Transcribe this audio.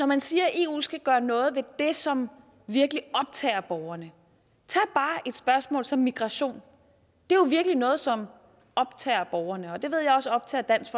man siger at eu skal gøre noget ved det som virkelig optager borgerne tag bare et spørgsmål som migration det er jo virkelig noget som optager borgerne det ved jeg også optager dansk